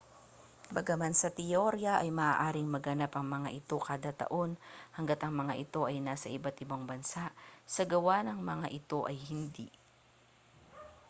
bagaman sa teorya ay maaaring maganap ang mga ito kada taon hangga't ang mga ito ay nasa iba't-ibang bansa sa gawa ang mga ito ay hindi